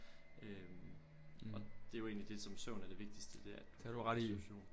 Øh og det er jo egentlig det som søvn er det vigtigste det er at du får restitution